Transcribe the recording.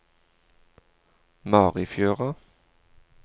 Marifjøra